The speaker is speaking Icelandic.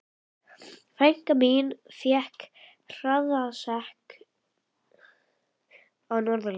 Frænka mín fékk hraðasekt á Norðurlandi.